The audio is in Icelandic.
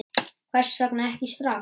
Hvers vegna ekki strax?